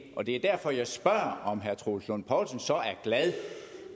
og det er derfor jeg spørger om herre troels lund poulsen så er glad